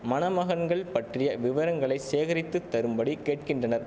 மணமகன்கள் பற்றிய விவரங்களை சேகரித்து தரும்படி கேட்கின்றனர்